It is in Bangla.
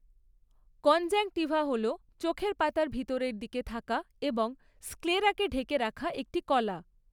কনজাংক্টিভা হল চোখের পাতার ভিতরের দিকে থাকা এবং স্ক্লেরাকে ঢেকে রাখা একটি কলা।